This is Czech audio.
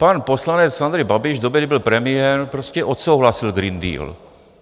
Pan poslanec Andrej Babiš v době, kdy byl premiérem, prostě odsouhlasil Green Deal.